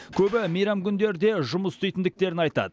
көбі мейрам күндері де жұмыс істейтіндіктерін айтады